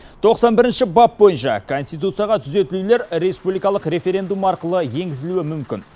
тоқсан бірінші бап бойынша конституцияға түзетулер республикалық референдум арқылы енгізілуі мүмкін